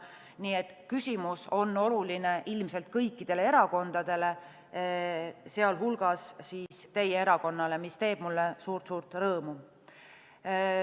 Nii et küsimus on oluline ilmselt kõikidele erakondadele, sh teie erakonnale, mis teeb mulle suurt-suurt rõõmu.